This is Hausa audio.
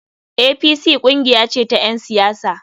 APC kungiya ce ta ‘yan siyasa.